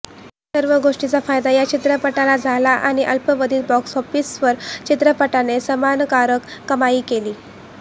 या सर्व गोष्टींचा फायदा या चित्रपटाला झाला आणि अल्पावधीत बॉक्स ऑफीसवर चित्रपटाने समाधानकारक कमाई केली